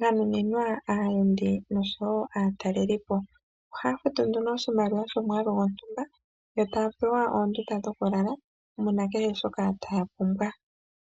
ganuninwa aataleliipo nosho woo aayenda nandjila. Ohaya futu nduno oshimaliwa shontumba opo ya longithe omikalwa dhoka nohaya a dha mo kehe shimwa shoka ya pumbwa.